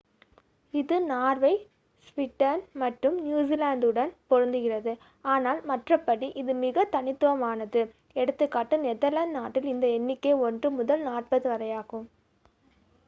இது Norway Sweden மற்றும் நியுசிலாந்துடன் பொருந்துகிறது ஆனால் மற்றபடி இது மிக தனித்துவமானது எ.கா. நெதர்லாந்து நாட்டில் இந்த எண்ணிக்கை ஒன்று முதல் நாற்பது வரையாகும்